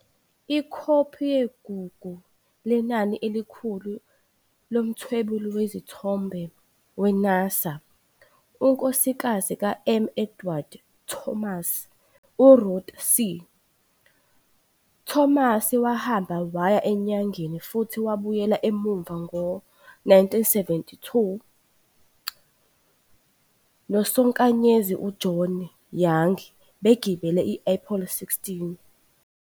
Ikhophi yeGugu Lenani Elikhulu lomthwebuli wezithombe we-NASA unkosikazi ka-M. Edward Thomas u-Ruth C. Thomas wahamba waya eNyangeni futhi wabuyela emuva ngo-1972 nosonkanyezi u- John Young begibele i- Apollo 16.